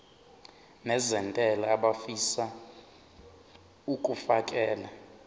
nezentela abafisa uukfakela